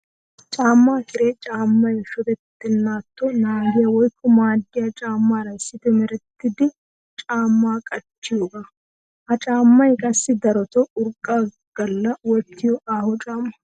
Caama kiree caamay shodetenaatto naagiya woykko maaddiya caamara issippe merettida camma qachchiyooga. Ha caamay qassi darotoo urqqa gala wottiyo aaho caama.